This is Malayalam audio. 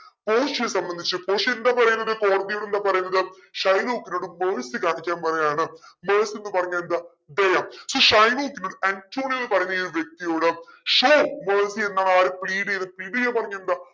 പോഷിയയെ സംബന്ധിച്ചു പോഷിയ എന്താ പറയുന്നത് യോട് എന്താ പറയുന്നത് ഷൈലോക്കിനോട് mercy കാണിക്കാൻ പറയാണ് mercy ന്ന് പറഞ്ഞ എന്താ ദയ ഈ ഷൈലോക്കിന് ആന്റോണിയോന്ന് പറയുന്ന ഈ വ്യക്തിയോട് show mercy എന്നാണ് ആര് plead ചെയ്തേ plead ചെയ്യാ പറഞ്ഞാ എന്താ